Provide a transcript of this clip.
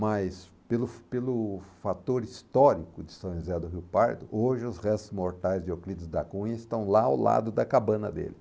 Mas pelo pelo fator histórico de São José do Rio Parto, hoje os restos mortais de Euclides da Cunha estão lá ao lado da cabana dele.